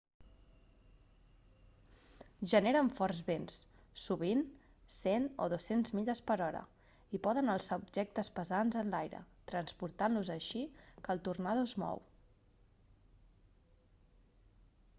generen forts vents sovint 100-200 milles/hora i poden alçar objectes pesants enlaire transportant-los així que el tornado es mou